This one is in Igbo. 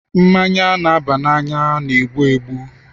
Mmanya na-aba n'anya na-egbu egbu.